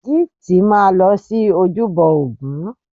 Gift máa lọ sí ojúbọ ògún.